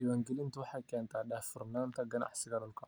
Diiwaangelintu waxay keentaa daahfurnaanta ganacsiga dhulka.